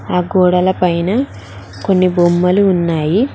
ఆ గోడల పైన్న కొన్ని బొమ్మలు ఉన్నాయి.